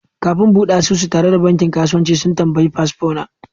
Kafin in bude asusu tare da bankin kasuwanci, sun tambayi fasfo na.